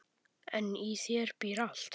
En í þér býr allt.